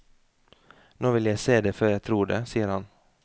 Nå vil jeg se det før jeg tror det, sier han.